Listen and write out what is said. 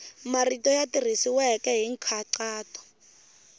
marito ya tirhisiwile hi nkhaqato